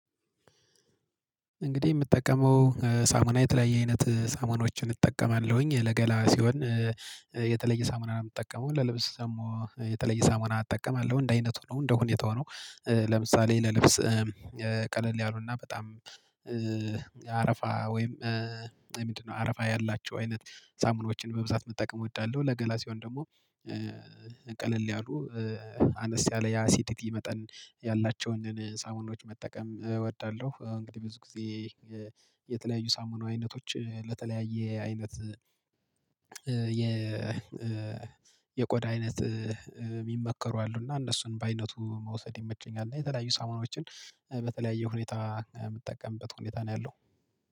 እንግዲህ የምጠቀመው ሳሙና የተለያየ አይነት ሳሙናዎችን እጠቀማለሁኝ ለገላ ሲሆን የተለየ ሳሙና ነው የምጠቀመው ለልብስ ደግሞ የተለየ ሳሙና አጠቀማለሁ እንደ አይነቱ ነው እንደ ሁኔታው ነው። ለምሳሌ ለልብስ ቀለል ያሉና በጣም የአረፋ ወይም ምንድነው አረፋ ያላቸው አይነት ሳሙኖችን በብዛት መጠቀም እወዳለሁ። ለገላ ሲሆን ደግሞ ቀለል ያሉ አነስ ያለ ያ አሲዲቲ መጠን ያላቸውን ሳሙናዎች መጠቀም እወዳለሁ። እንግዲህ ብዙ ጊዜ የተለያዩ ሳሙና አይነቶች ለተለያየ አይነት የ የቆዳ አይነት የሚመከሩ አሉ እና እነሱን በአይነቱ መውሰድ ይመቸኛል። እና የተለያዩ ሳመናዎችን በተለያየ ሁኔታ የምትጠቀምበት ሁኔታ ነው ያለው